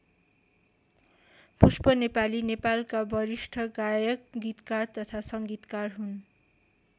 पुष्प नेपाली नेपालका वरिष्ठ गायक गीतकार तथा सङ्गीतकार हुन्।